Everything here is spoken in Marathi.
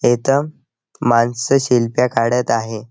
इथ माणसं सेल्फ्या काढत आहे.